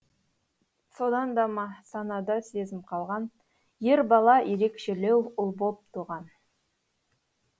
содан да ма санада сезім қалған ер бала ерекшелеу ұл боп туған